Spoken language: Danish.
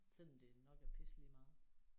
Selvom det jo nok er pisse lige meget